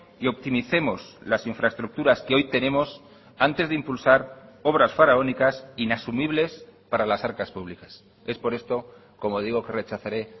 y optimicemos las infraestructuras que hoy tenemos antes de impulsar obras faraónicas inasumibles para las arcas públicas es por esto como digo que rechazaré